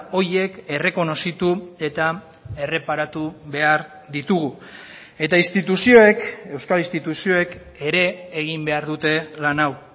horiek errekonozitu eta erreparatu behar ditugu eta instituzioek euskal instituzioek ere egin behar dute lan hau